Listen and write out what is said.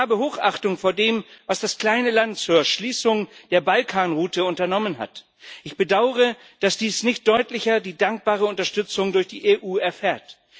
Ich habe Hochachtung vor dem, was das kleine Land zur Schließung der Balkanroute unternommen hat. Ich bedaure, dass dies nicht deutlicher die dankbare Unterstützung durch die EU erfährt.